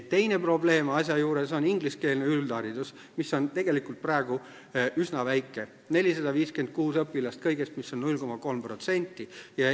Teine probleem asja juures on ingliskeelne üldharidus, mis on tegelikult praegu üsna väike – kõigest 456 õpilast, see teeb 0,3%.